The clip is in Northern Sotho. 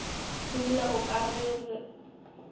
e bile o ka re